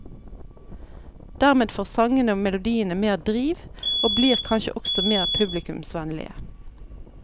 Dermed får sangene og melodiene mer driv, og blir kanskje også mer publikumsvennlige.